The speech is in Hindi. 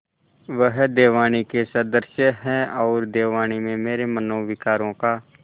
वह देववाणी के सदृश हैऔर देववाणी में मेरे मनोविकारों का